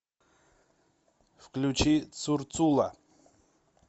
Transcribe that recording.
включи цурцула